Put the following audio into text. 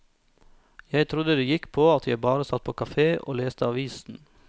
Jeg trodde det gikk på at jeg bare satt på kafé og leste avisen.